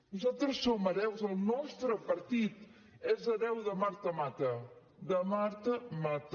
nosaltres som hereus el nostre partit és hereu de marta mata de marta mata